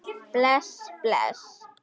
Bless, bless.